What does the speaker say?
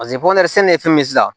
sɛnɛ ye fɛn min ye sisan